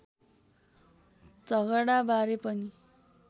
झगडा बारे पनि